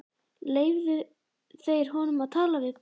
Leyfðu þeir honum að tala við prest?